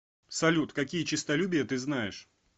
салют какие честолюбие ты знаешь